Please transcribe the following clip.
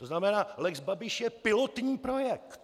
To znamená, lex Babiš je pilotní projekt.